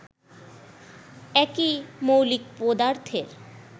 একই মৌলিক পদার্থের